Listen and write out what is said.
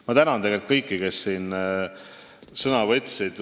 Ma tänan kõiki, kes sõna võtsid!